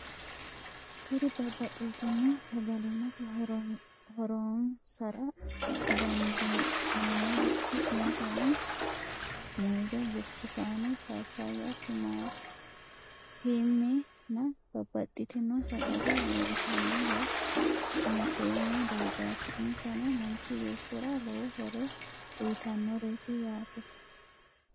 Kuri babaxitino sagalimate hooronsra dandinemorichoni insano muuze, burutukane, paapaya, timanitimena babaxitino sagale leelitano woyi afine'mo dargati insano manchi beetira lowo horono uyitanoret yaate